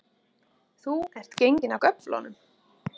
Þú ert genginn af göflunum